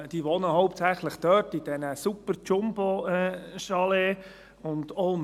Sie wohnen hauptsächlich dort, in diesen Superjumbo-Chalets.